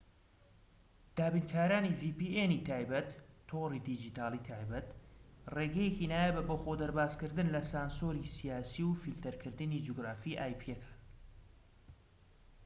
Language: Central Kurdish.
دابینکارانی vpn ی تایبەت تۆڕی دیجیتاڵیی تایبەت ڕێگەیەکی نایابە بۆ خۆدەربازکردن لە سانسۆری سیاسی و فیلتەرکردنی جوگرافیی ئایپیەکان